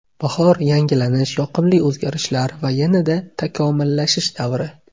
Bahor – yangilanish, yoqimli o‘zgarishlar va yanada takomillashish davri.